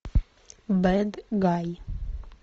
бэд гай